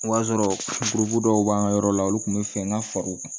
O b'a sɔrɔ dɔw b'an ka yɔrɔ la olu kun bɛ fɛ an ka fara u kan